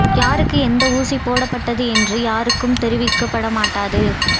யாருக்கு எந்த ஊசி போடப்பட்டது என்று யாருக்கும் தெரிவிக்கப்பட மாட்டாது